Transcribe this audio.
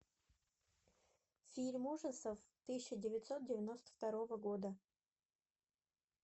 фильм ужасов тысяча девятьсот девяносто второго года